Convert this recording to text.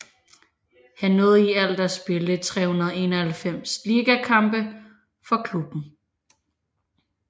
Han nåede i alt at spille 391 ligakampe for klubben